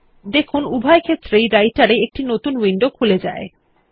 দেখুন উভয় ক্ষেত্রেই Writer এ একটি নতুন উইন্ডো খুলে যায়